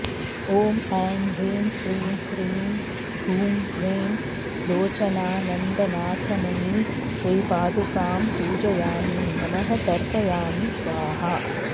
ॐ ऐं ह्रीं श्रीं क्रीं हूं ह्रीं लोचनानन्दनाथमयी श्रीपादुकां पूजयामि नमः तर्पयामि स्वाहा